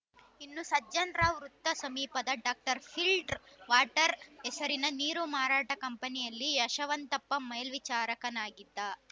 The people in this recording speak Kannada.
ಇನ್ನು ಸಜ್ಜನ್‌ರಾವ್‌ ವೃತ್ತ ಸಮೀಪದ ಡಾಕ್ಟರ್ ಫಿಲ್ಡ್ ರ್‌ ವಾಟರ್‌ ಹೆಸರಿನ ನೀರು ಮಾರಾಟ ಕಂಪನಿಯಲ್ಲಿ ಯಶವಂತಪ್ಪ ಮೇಲ್ವಿಚಾರಕನಾಗಿದ್ದ